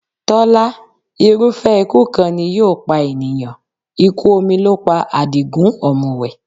Tọ́lá, irúfẹ́ ikú kan ni yóò pa ènìyàn. Ikú omi ló pa Àdìgún ọ̀mùwẹ̀.